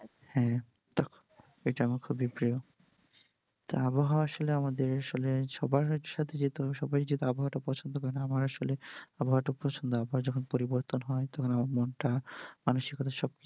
হ্যা তো এটা আমার খুবই প্রিয় তা আবহাওয়া আসলে আমাদের আসলে সবার সাথে যেতে হবে সবাই যেহেতু আবহাওয়া টা পছন্দ করেনা আমার আসলে আবহাওয়া টা পছন্দ আবহাওয়া যখন পরিবর্তন হয় তখন আমার মনটা মানসিক ভাবে হ্যাঁ